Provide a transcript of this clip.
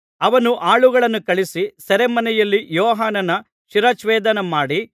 ಅವನು ಆಳುಗಳನ್ನು ಕಳುಹಿಸಿ ಸೆರೆಮನೆಯಲ್ಲಿ ಯೋಹಾನನ ಶಿರಚ್ಛೇದನಮಾಡಿ